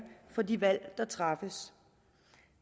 for de valg der træffes